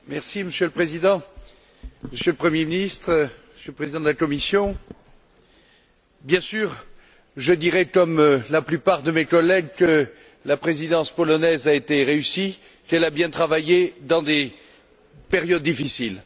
Monsieur le Président, Monsieur le Premier ministre, Monsieur le Président de la Commission, bien sûr, je dirai comme la plupart de mes collègues que la Présidence polonaise a été réussie, qu'elle a bien travaillé dans des périodes difficiles.